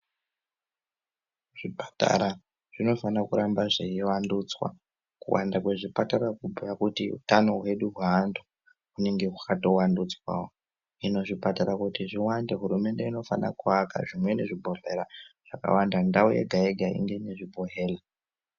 Zvipatara zvinofana kuramba zveivandudzwa. Kuwanda kwezvipatara kubhuya kutia hutano hwedu, hweantu hwunge hwakatovandudzwawo. Hino kuti zvipatara zviwande, hurumende inofana kuaka zvimweni zvibhedhlera zvakawanda, ndau yega-yega inge inezvibhedhlera.